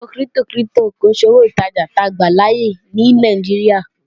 Owó kírípítò kírípítò kìí ṣe owó ìtajà táa gbàláyè ní Nàìjíríà